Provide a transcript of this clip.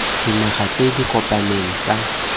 dinaga tse di kopaneng tsa